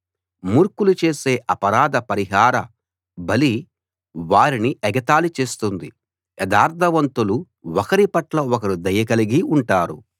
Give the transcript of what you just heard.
మూర్ఖులు చేసే అపరాధ పరిహార బలి వారిని ఎగతాళి చేస్తుంది యథార్థవంతులు ఒకరిపట్ల ఒకరు దయ కలిగి ఉంటారు